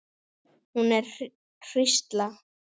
Hún er hrísla.